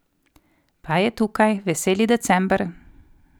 Pa je tukaj, veseli december!